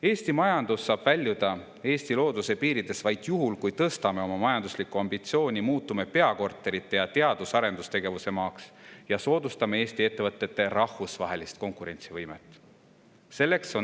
Eesti majandus saab väljuda Eesti looduse piiridest vaid juhul, kui tõstame oma majanduslikku ambitsiooni, muutume peakorterite ning teadus- ja arendustegevuse maaks ning soodustame Eesti ettevõtete rahvusvahelist konkurentsivõimet.